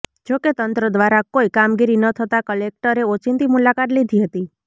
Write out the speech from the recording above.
જોકે તંત્ર દ્વારા કોઇ કામગીરી ન થતાં કલેક્ટરે ઓચિંતી મુલાકાત લીધી હતી